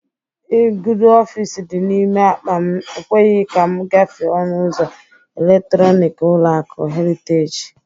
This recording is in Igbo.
Igudo ọfịs dị n'ime akpa m ekweghi ka m gafe ọnụ ụzọ eletrọnik ụlọaku Heriteji